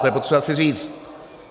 To je potřeba si říct.